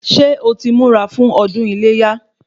Ṣé o ti ń múra fún ọdún iléyá?